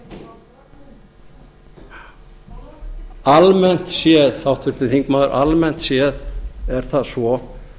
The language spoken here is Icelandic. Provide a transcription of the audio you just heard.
í þingsal almennt séð háttvirtur þingmaður almennt séð er það svo